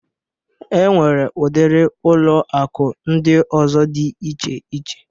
E nwere udiri ụlọ akụ ndị ọzọ dị iche iche